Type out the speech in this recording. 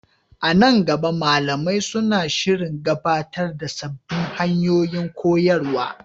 A nan gaba, malamai suna shirin gabatar da sabbin hanyoyin koyarwa.